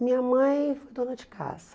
Minha mãe foi dona de casa.